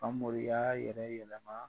Famori y'a yɛrɛ yɛlɛma.